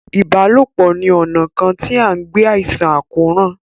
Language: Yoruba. ìbálòpọ̀ ni ona kàn tí an gbé àìsàn àkóràn.